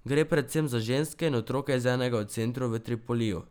Gre predvsem za ženske in otroke iz enega od centrov v Tripoliju.